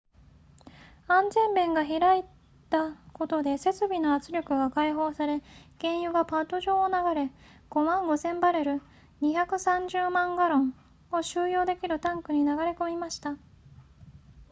安全弁が開いたことで設備の圧力が解放され原油がパッド上を流れ 55,000 バレル230万ガロンを収容できるタンクに流れ込みました